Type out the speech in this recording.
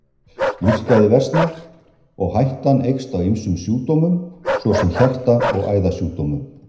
Lífsgæði versna og hættan eykst á ýmsum sjúkdómum svo sem hjarta- og æðasjúkdómum.